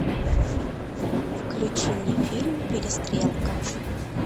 включи мне фильм перестрелка